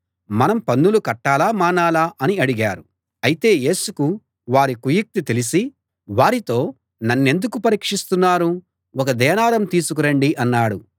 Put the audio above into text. మనం పన్నులు కట్టాలా మానాలా అని అడిగారు అయితే యేసుకు వారి కుయుక్తి తెలిసి వారితో నన్నెందుకు పరీక్షిస్తున్నారు ఒక దేనారం తీసుకు రండి అన్నాడు